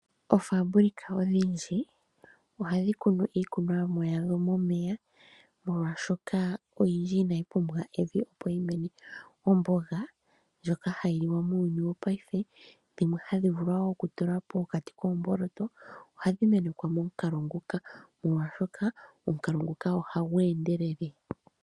Oo fabric odhindji ohadhi kunu iikunomwa yadho momeya molwaashoka oyindji inayi pumbwa evi opo yi mene. Omboga ndjoka hayi liwa muuyuni wopaife dhimwe hadhi vulu wo oku tulwa pokati koomboloto ohadhi menekwa momukalo nguka molwaashoka omukalo nguka ohagu endelele